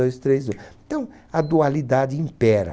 Dois três e. Então, a dualidade impera.